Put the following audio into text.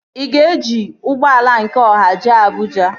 Ị ga-eji ụgbọala nke ọha jee Abụja?